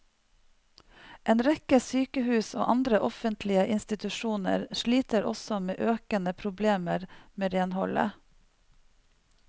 En rekke sykehus og andre offentlige institusjoner sliter også med økende problemer med renholdet.